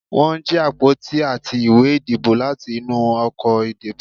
won jí apotí atí ìwé ìdíbò latí inú ọkọ ìdíbò